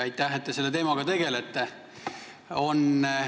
Aitäh, et te selle teemaga tegelete!